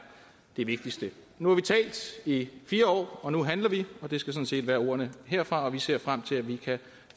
det vigtigste nu har vi talt i fire år nu handler vi og det skal sådan set være ordene herfra vi ser frem til at vi kan